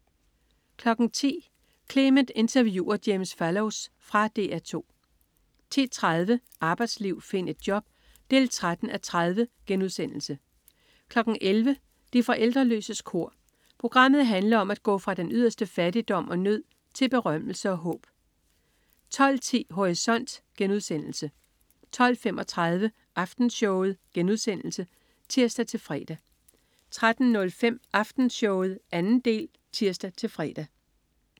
10.00 Clement interviewer James Fallows. Fra DR 2 10.30 Arbejdsliv, find et job! 13:30* 11.00 De forældreløses kor. Programmet handler om at gå fra den yderste fattigdom og nød til berømmelse og håb 12.10 Horisont* 12.35 Aftenshowet* (tirs-fre) 13.05 Aftenshowet 2. del (tirs-fre)